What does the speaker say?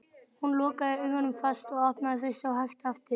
Hún lokaði augunum fast og opnaði þau svo hægt aftur.